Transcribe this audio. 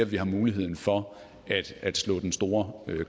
vi har mulighed for at slå den store